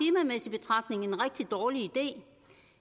men betragtning en rigtig dårlig idé